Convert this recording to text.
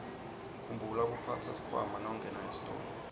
khumbula kuphatsa sikhwama nawungena esitolo